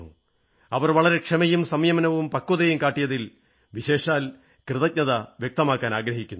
അവർ വളരെ ക്ഷമയും സംയമനവും പക്വതയും കാട്ടിയതിൽ വിശേഷാൽ കൃതജ്ഞത വ്യക്തമാക്കാനാഗ്രഹിക്കുന്നു